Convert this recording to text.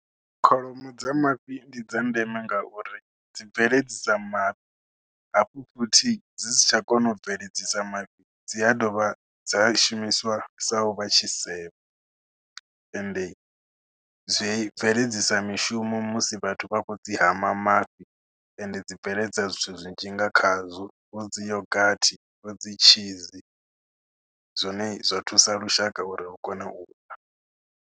Kholomo dza mafhi ndi dza ndeme ngauri dzi bveledzisa mafhi hafhu futhi dzi si tsha kona u bveledzisa mafhi dzi a dovha dza shumiswa sa u vha tshisevho, ende zwi bveledzisa mishumo musi vhathu vha khou dzi hama mafhi ende dzi bveledza zwithu zwinzhi nga khazwo vho dzi yoghurt, vho dzi tshizi zwine zwa thusa lushaka uri lu kone u ḽa.